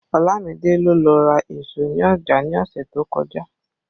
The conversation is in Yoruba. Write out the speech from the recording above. Olamide ló lọ ra èso ní ọjà ní ọ̀sẹ̀ tó kọjá